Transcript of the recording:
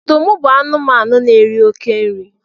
ọdụm bu anụmanụ n'eri oke nri